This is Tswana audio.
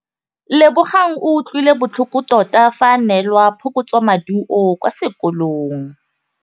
Lebogang o utlwile botlhoko tota fa a neelwa phokotsômaduô kwa sekolong.